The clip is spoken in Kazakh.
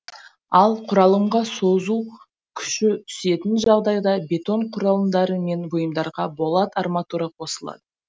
ал құралымға созу күші түсетін жағдайда бетон құрылымдары мен бұйымдарға болат арматура қосылады